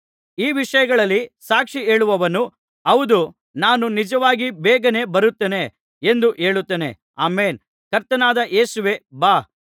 ಈ ವಿಷಯಗಳಲ್ಲಿ ಸಾಕ್ಷಿ ಹೇಳುವವನು ಹೌದು ನಾನು ನಿಜವಾಗಿ ಬೇಗನೇ ಬರುತ್ತೇನೆ ಎಂದು ಹೇಳುತ್ತಾನೆ ಆಮೆನ್ ಕರ್ತನಾದ ಯೇಸುವೇ ಬಾ